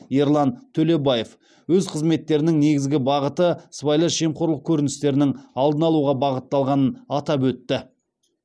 ерлан төлебаев өз қызметтерінің негізгі бағыты сыбайлас жемқорлық көріністерінің алдын алуға бағытталғанын атап өтті